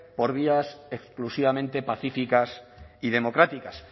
por vías exclusivamente pacíficas y democráticas